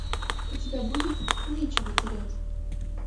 у тебя будет нечего терять